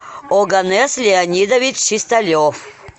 оганес леонидович чисталев